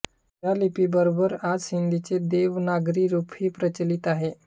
या लिपीबरोबर आज सिंधीचे देवनागरी रूपही प्रचलित आहे